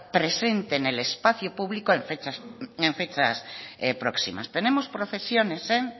presente en el espacio público en fechas próximas tenemos procesiones en